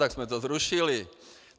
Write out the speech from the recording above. Tak jsme to zrušili.